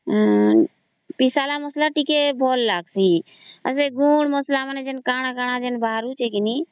ପେସା ହେବ ମସଲା ଗ ଟିକେ ଭଲ ଲାଗୁଚି ଆଉ ସେ ଗୁଣ୍ଡ ମସଲା କା କଣ କଣ ବାହାରୁଚି ଗେ ନି